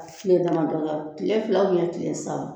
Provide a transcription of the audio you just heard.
Ka tile dama dɔ kɛ, tile fila tile saba